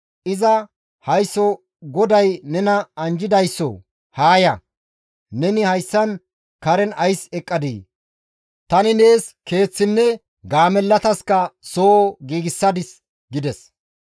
Iza, «Haysso GODAY nena anjjidaysso haa ya! Neni hayssan karen ays eqqadii? Tani nees keeththinne gaamellataska soo giigsadis» gides.